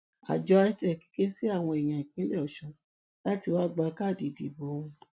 àjọ itec ké sí àwọn èèyàn ìpínlẹ ọṣun láti wá gba káàdì ìdìbò wọn